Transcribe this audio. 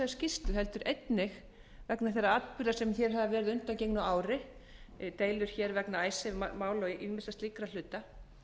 skýrslu heldur einnig vegna þeirra atburða sem hér hafa verið á undangengnu ári deilur vegna icesave mála og ýmissa slíkra hluta